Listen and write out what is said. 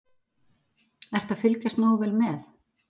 Ertu að fylgjast nógu vel með?